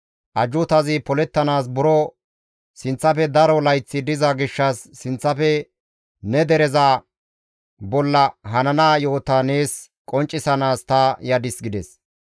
Ajjuutazi polettanaas buro sinththafe daro layththi diza gishshas sinththafe ne dereza bolla hanana yo7ota nees qonccisanaas ta yadis» gides.